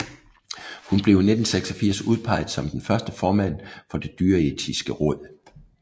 Hun blev i 1986 udpeget som den første formand for Det Dyreetiske Råd